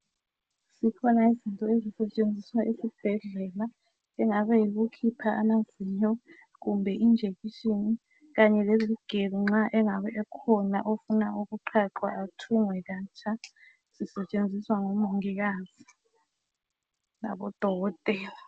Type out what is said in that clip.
Zikhona izinto ezisetshenziswa esibhedlela engabe yikukhipha amazinyo kumbe i injection kanye lezigelo nxa engabe ekhona ofuna ukuqhaqhwa athungwe katsha zisetshenziswa ngomongikazi labo dokotela